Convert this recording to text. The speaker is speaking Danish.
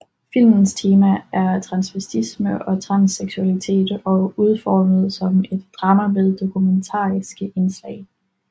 Filmens tema er transvestisme og transseksualitet og udformet som et drama med dokumentariske indslag